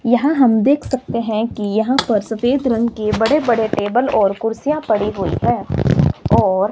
यहां हम देख सकते हैं की यहां पर सफेद रंग की बड़े बड़े टेबल और कुर्सियां पड़ी हुई हैं और --